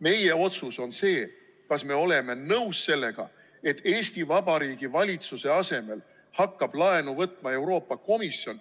Meie otsus on see, kas me oleme nõus sellega, et Eesti Vabariigi Valitsuse asemel hakkab laenu võtma Euroopa Komisjon,